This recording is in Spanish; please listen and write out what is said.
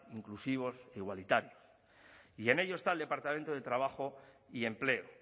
inclusivos e igualitarios y en ello está el departamento de trabajo y empleo